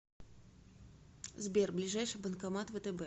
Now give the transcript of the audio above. сбер ближайший банкомат втб